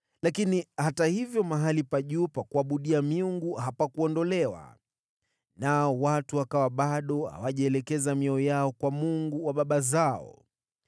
Hata hivyo mahali pa juu pa kuabudia hapakuondolewa, na watu wakawa bado hawajaelekeza mioyo yao kwa Mungu wa baba zao.